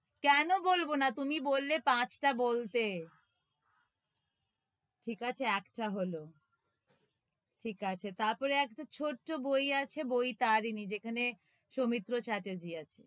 কেনো বলব না? তুমি বললে পাঁচটা বলতে ঠিক আছে একটা হলো ঠিক আছে, তারপরে একটা ছোট্ট বই আছে, বই তারিনি যেখানে, সৌমিত্র চ্যাটার্জি আছে,